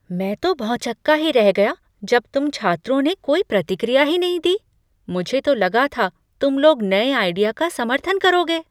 मैं तो भौंचक्का ही रह गया कि जब तुम छात्रों ने कोई प्रतिक्रिया ही नहीं दी, मुझे तो लगा था तुम लोग नए आइडिया का समर्थन करोगे।